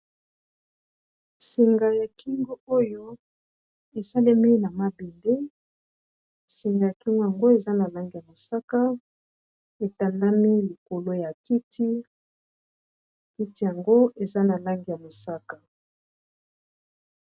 Singa ya kingo oyo esalemi na mabende senga ya kingo yango eza na lange ya mosaka etandami likolo ya kiti kiti yango eza na lange ya mosaka.